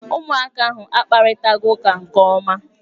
Ụmụaka ahụ akparịtaghị ụka nke ọma